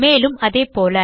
மேலும் அதேபோல